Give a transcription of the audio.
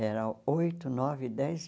Era oito, nove, dez